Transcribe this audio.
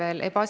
Aitäh!